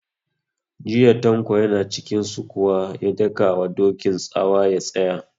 Jiya Tanko ya na cikin sukuwa ya daka wa Dokin tsawa ya tsaya!